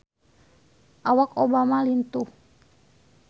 Awak Obama lintuh